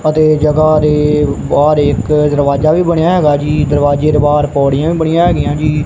ਅਤੇ ਜਗ੍ਹਾ ਦੇ ਬਾਹਰ ਇੱਕ ਦਰਵਾਜਾ ਵੀ ਬਣਿਆ ਹੈਗਾ ਜੀ ਦਰਵਾਜੇ ਦੇ ਬਾਹਰ ਪੌੜੀਆਂ ਵੀ ਬਣਿਆ ਹਿਗੀਆਂ ਜੀ।